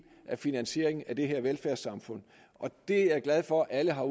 af finansieringen af det her velfærdssamfund jeg er glad for at alle har